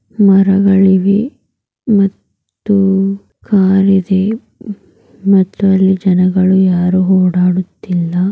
ಮರಗಳಿವೆ ಮತ್ತು ಕಾರ್ ಇದೆ ಮತ್ತು ಅಲ್ಲಿ ಜನಗಳು ಯಾರು ಓಡಾಡುತ್ತಿಲ್ಲ.